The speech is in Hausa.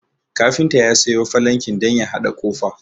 Kafinta ya sayo falanki don ya haɗa ƙofa